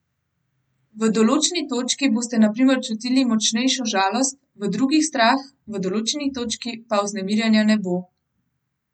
V določeni točki boste na primer čutili močnejšo žalost, v drugi strah, v določeni točki pa vznemirjenja ne bo.